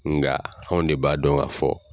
Nga anw de b'a dɔn ka fɔ